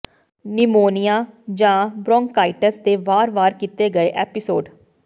pneumonia ਜਾਂ bronchitis ਦੇ ਵਾਰ ਵਾਰ ਕੀਤੇ ਗਏ ਐਪੀਸੋਡ